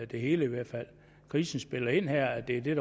det hele i hvert fald krisen spiller ind her og det er